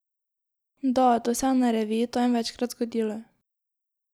Da, to se je na reviji Time večkrat zgodilo.